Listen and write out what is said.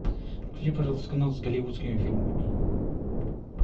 включи пожалуйста канал с голливудскими фильмами